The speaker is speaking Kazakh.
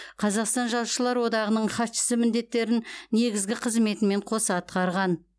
қазақстан жазушылар одағының хатшысы міндеттерін негізгі қызметімен қоса атқарған